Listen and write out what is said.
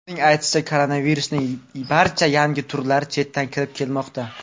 Uning aytishicha, koronavirusning barcha yangi turlari chetdan kirib kelmoqda.